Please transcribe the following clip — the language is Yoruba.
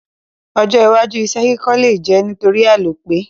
Ojó iwájú isé ilé kíkọ́ le je nítorí àlòpẹ́